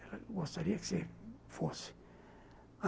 Ela gostaria que você fosse.